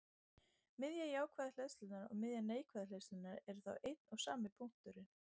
Miðja jákvæðu hleðslunnar og miðja neikvæðu hleðslunnar eru þá einn og sami punkturinn.